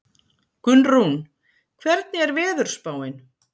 Gunnrún, hvernig er veðurspáin?